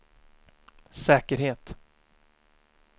säkerhet